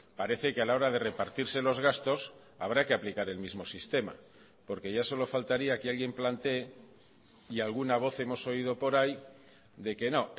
parece que a la hora de repartirse los gastos habrá que aplicar el mismo sistema porque ya solo faltaría que alguien plantee y alguna voz hemos oído por ahí de que no